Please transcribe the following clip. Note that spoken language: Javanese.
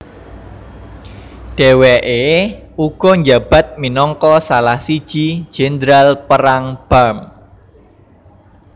Deweke uga njabat minangka salah siji jendral perang Barm